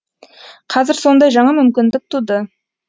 қазір сондай жаңа мүмкіндік туды